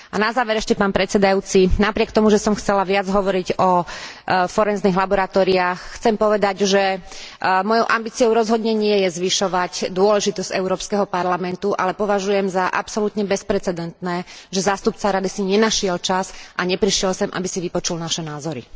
A na záver ešte, pán predsedajúci, napriek tomu, že som chcela viac hovoriť o forenznych laboratóriách, chcem povedať, že mojou ambíciou rozhodne nie je zvyšovať dôležitosť Európskeho parlamentu, ale považujem za absolútne bezprecedentné, že zástupca Rady si nenašiel čas a neprišiel sem, aby si vypočul naše názory.